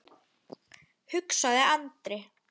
hugsaði Andri.